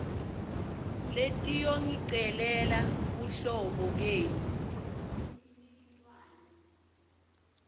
letiyongicelela buhlobo kenu